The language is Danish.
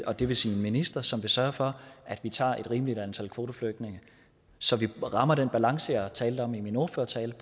og det vil sige en minister som vil sørge for at vi tager et rimeligt antal kvoteflygtninge så vi rammer den balance jeg talte om i min ordførertale